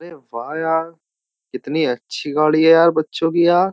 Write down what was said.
अरे यार कितनी अच्छी गाड़ी है यार बच्चों की यार।